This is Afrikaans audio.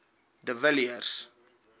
de villiers